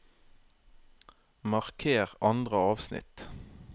Marker andre avsnitt